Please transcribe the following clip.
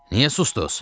Niyə sustuz?